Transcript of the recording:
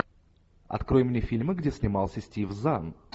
открой мне фильмы где снимался стив зан